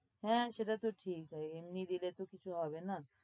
হ্যাঁ, সেটা তো ঠিক, আর এমনি দিলে তো কিছু হবে না।